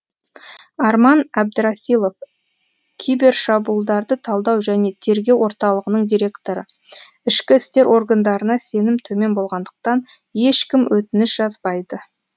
арман әбдірасилов кибер шабуылдарды талдау және тергеу орталығының директоры ішкі істер органдарына сенім төмен болғандықтан ешкім өтініш жазбайды